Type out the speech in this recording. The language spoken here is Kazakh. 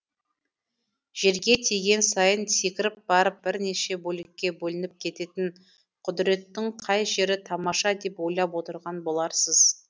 жерге тиген сайын секіріп барып бірнеше бөлікке бөлініп кететін құдіреттің қай жері тамаша деп ойлап отырған боларсыз